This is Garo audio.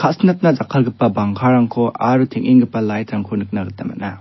ka·sinatna jakkalgipa bangkarangko aro teng·enggipa light-rangko nikna gita man·a.